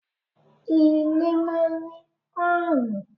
Ilé máa ń ní páànù.